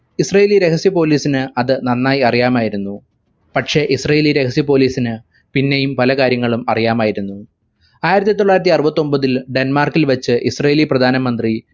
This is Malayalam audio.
israeli രഹസ്യ police ന് അത് നന്നായി അറിയാമായിരുന്നു പക്ഷെ israeli രഹസ്യ police ന് പിന്നെയും പല കാര്യങ്ങളും അറിയാമായിരുന്നു ആയിരത്തി തൊള്ളായിരത്തി അറുപത്തൊമ്പതിൽ ഡെന്മാർക്കിൽ വെച്ച് israeli പ്രധാന മന്ത്രി